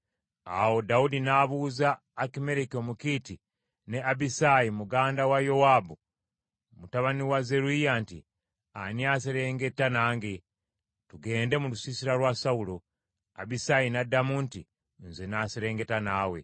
Awo Dawudi n’abuuza Akimereki Omukiiti ne Abisaayi muganda wa Yowaabu, mutabani wa Zeruyiya nti, “Ani anaaserengeta nange, tugende mu lusiisira lwa Sawulo?” Abisaayi n’addamu nti, “Nze n’aserengeta naawe.”